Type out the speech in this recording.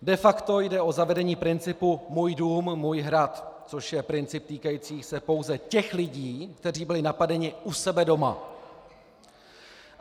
De facto jde o zavedení principu můj dům, můj hrad, což je princip týkající se pouze těch lidí, kteří byli napadeni u sebe doma.